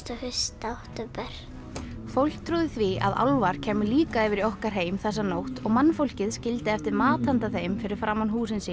og fyrsta október fólk trúði því að álfar kæmu líka yfir í okkar heim þessa nótt og mannfólkið skildi eftir mat handa þeim fyrir framan húsin sín